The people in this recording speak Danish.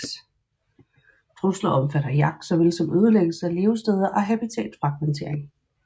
Trusler omfatter jagt såvel som ødelæggelse af levesteder og habitatfragmentering